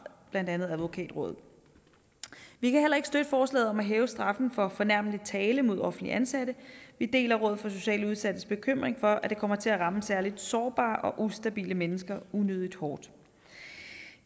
blandt andet advokatrådet vi kan heller ikke støtte forslaget om at hæve straffen for fornærmelig tale mod offentligt ansatte vi deler rådet for socialt udsattes bekymring for at det kommer til at ramme særligt sårbare og ustabile mennesker unødigt hårdt